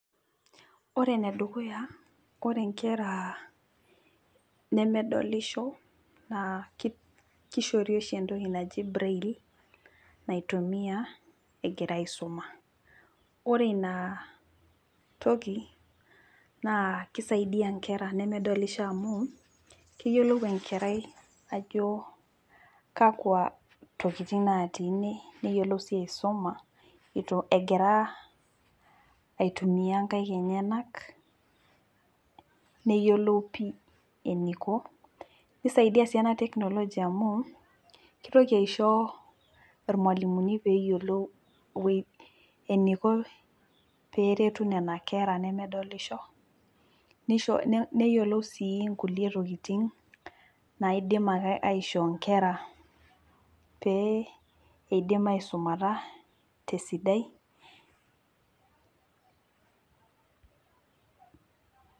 Ore enedukuya, ore nkera nemedolisho, naa koshori oshi entoki naji braille, naitumia egira aisuma. Ore ina toki, naa kisaidia nkera nemedolisho amu, keyiolou enkerai ajo kakwa tokiting natii ine, neyiolou si aisoma itu egira aitumia nkaik enyanak, neyiolou pi eniko, nisaidia si ena technology amu, kitoki aisho irmalimuni peyiolou eniko peretu nena kera nemedolisho, nisho neyiolou si inkulie tokiting naidim ake aishoo nkera pee idim aisumata tesidai.